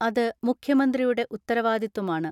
അത് മുഖ്യമന്ത്രിയുടെ ഉത്തരവാദിത്വമാണ്.